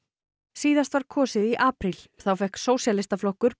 síðast var kosið í apríl þá fékk Sósíalistaflokkur